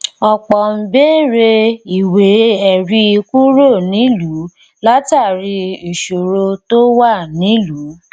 ọpọ n beere ìwé ẹrí kúrò nílùú látàrí ìṣòro tó wà nílùú